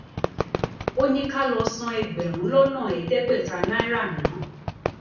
ó ní ká lọọ san ẹgbẹrún lọnà ẹẹdẹgbẹta náírà ná